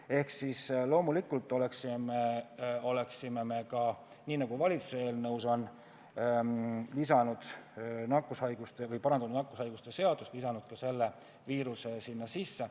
Ehk siis loomulikult oleksime me samamoodi, nagu valitsuse eelnõus on tehtud, parandanud nakkushaiguste seadust ja lisanud ka selle viiruse sinna sisse.